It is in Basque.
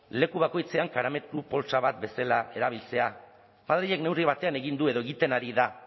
leku bakoitzean karamelu poltsa bat bezala erabiltzea madrilek neurri batean egin du edo egiten ari da